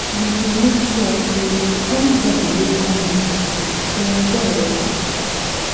We go make sure sey anybodi wey come dis party go enjoy wella.